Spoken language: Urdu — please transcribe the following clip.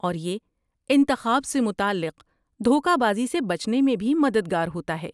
اور یہ انتخاب سے متعلق دھوکہ بازی سے بچنے میں بھی مددگار ہوتا ہے۔